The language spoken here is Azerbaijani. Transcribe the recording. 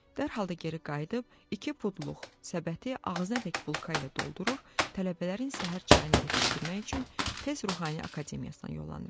Dərhal da geri qayıdıb iki pudluq səbəti ağzınadək bulka ilə doldurur, tələbələrin səhər çayına yetişdirmək üçün tez Ruhani Akademiyasına yollanıram.